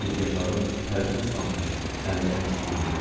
Gicgahlarım tərdən islanmışdı, əllərim titrəyirdi.